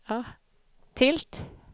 tilt